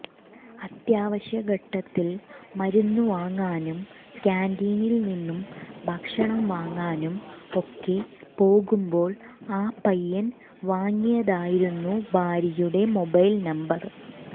അത്യാവശ്യഘട്ടത്തിൽ മരുന്നുവാങ്ങാനും കാന്റീനിൽ നിന്നും ഭക്ഷണം വാങ്ങാനും ഒക്കെ പോകുമ്പോൾ ആ പയ്യൻ വാങ്ങിയതായിരുന്നു ഭാര്യയുടെ മൊബൈൽ നമ്പർ